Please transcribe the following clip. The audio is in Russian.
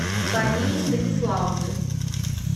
марии станиславовны